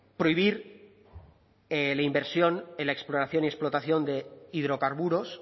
prohibir la inversión en la exploración y explotación de hidrocarburos